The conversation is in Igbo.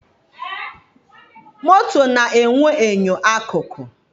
Moto na-enwe enyo akụkụ.